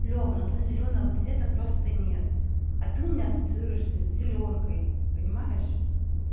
лева ну там зелёного цвета просто нет а ты у меня ассоциируешься с зелёнкой понимаешь